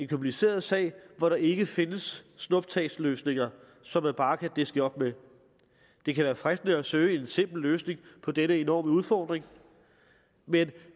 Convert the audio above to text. kompliceret sag hvor der ikke findes snuptagsløsninger som man bare kan diske op med det kan være fristende at søge en simpel løsning på denne enorme udfordring men